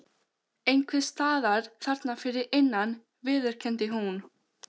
Einhvers staðar þarna fyrir innan viðurkenndi hún.